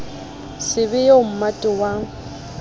se be eo mmate wa